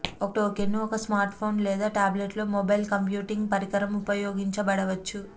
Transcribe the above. ఒక టోకెన్ను ఒక స్మార్ట్ఫోన్ లేదా టాబ్లెట్లో మొబైల్ కంప్యూటింగ్ పరికరం ఉపయోగించబడవచ్చు